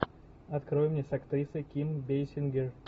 открой мне с актрисой ким бейсингер